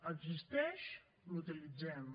existeix l’utilitzem